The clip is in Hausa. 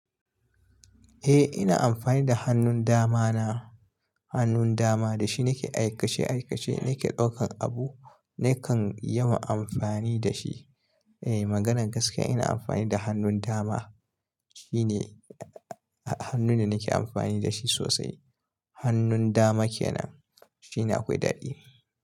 Eh ina amfani da hannun dama na, hannun dama da shi nake aikace aikace, nake ɗaukan abu, nakan yawan amfani da shi. Eh maganar gaskiya ina amfani da hannun dama, shine hannun da nake amfani da shi sosai. Hannun dama kenan shine akwai daɗi.